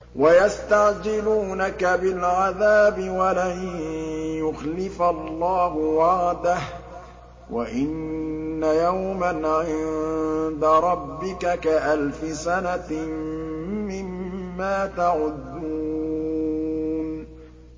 وَيَسْتَعْجِلُونَكَ بِالْعَذَابِ وَلَن يُخْلِفَ اللَّهُ وَعْدَهُ ۚ وَإِنَّ يَوْمًا عِندَ رَبِّكَ كَأَلْفِ سَنَةٍ مِّمَّا تَعُدُّونَ